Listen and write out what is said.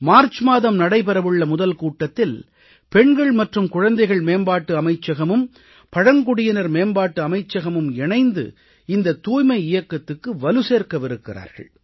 March மாதம் நடைபெறவுள்ள முதல் கூட்டத்தில் பெண்கள் மற்றும் குழந்தைகள் மேம்பாட்டு அமைச்சகமும் பழங்குடியினர் மேம்பாட்டு அமைச்சகமும் இணைந்து இந்தத் தூய்மை இயக்கத்துக்கு வலு சேர்க்கவிருக்கிறார்கள்